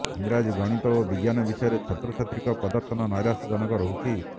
ଇଂରାଜୀ ଗଣିତ ଓ ବିଜ୍ଞାନ ବିଷୟରେ ଛାତ୍ରଛାତ୍ରୀଙ୍କ ପ୍ରଦର୍ଶନ ନ୘ରାଶ୍ୟଜନକ ରହୁଛି